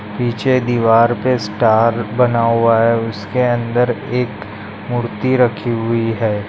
पीछे दीवार पे स्टार बना हुआ है उसके अंदर एक मूर्ति रखी हुई है।